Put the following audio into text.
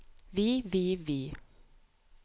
vi vi vi